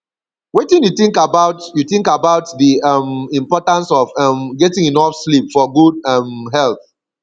wetin you think about you think about di um importance of um getting enough sleep for good um health